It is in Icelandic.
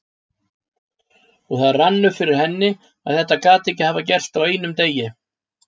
Og það rann upp fyrir henni að þetta gat ekki hafa gerst á einum degi.